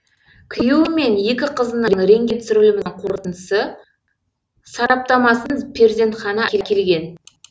күйеуі мен екі қызының рентген түсірілімінің қорытындысы сараптамасын перзентхана әкелген